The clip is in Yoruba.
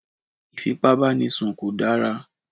Ìfípábánisùn kò dára